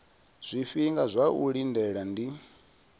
zwifhinga zwa u lindela ndi